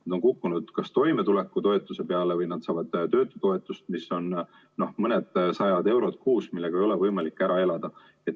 Nad on kukkunud kas toimetulekutoetuse peale või nad saavad töötutoetust, mis on mõnisada eurot kuus ja millega ei ole võimalik ära elada.